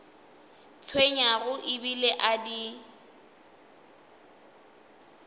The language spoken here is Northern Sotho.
tshwenyago e bile a di